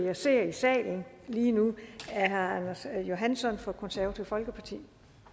jeg ser i salen lige nu er herre anders johansson fra det konservative folkeparti